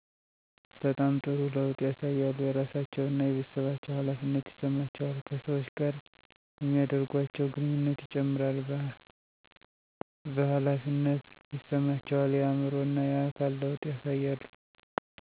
በጣም ጥሩ ለውጥ ያሳያሉ የራሳቸው እና የቤተሠባቸው ሀላፊነት ይሠማቸዋል ከሠወች ጋር የሚደርጓቸው ግንኙነት ይጨምራል ቨሀላፊነት ይሰማቸዋል የአዕምሮ እና የአካል ለውጥ ያሳያሉ።